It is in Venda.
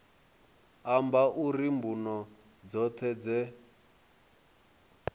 amba uri mbuno dzoṱhe dze